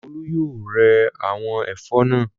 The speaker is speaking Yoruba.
Olú yóò rẹ́ àwọn ẹ̀fọ́ náà.